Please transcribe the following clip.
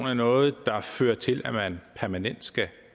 er noget der fører til at man permanent skal